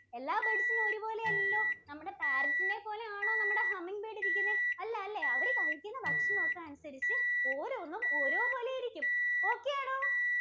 എല്ലാ birds ഉം ഒരുപോലെ അല്ലല്ലോ. നമ്മുടെ Parrot ഇനെപ്പോലെ ആണോ നമ്മുടെ Humming bird ഇരിക്കുന്നെ? അല്ലാലെ, അവര് കഴിക്കുന്ന ഭക്ഷണമൊക്കെ അനുസരിച്ച് ഓരോന്നും ഓരോ പോലെ ഇരിക്കും. Okay ആണോ?